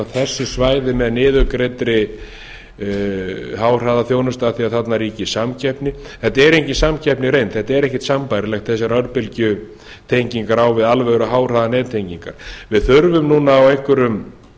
þessi svæði með niðurgreiddri háhraðaþjónustu af því að þarna ríki samkeppni þetta er engin samkeppni í reynd þetta er ekkert sambærilegt þessar örbylgjutengingar á við alvöru háhraðanettengingar við þurfum núna á einhverjum